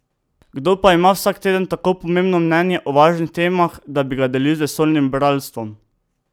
Kdo pa ima vsak teden tako pomembno mnenje o važnih temah, da bi ga delil z vesoljnim bralstvom?